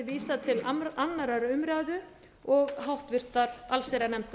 vísað til annarrar umræðu og háttvirtrar allsherjarnefndar